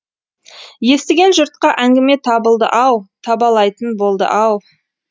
естіген жұртқа әңгіме табылды ау табалайтын болды ау